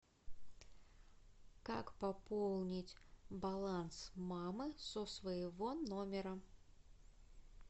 как пополнить баланс мамы со своего номера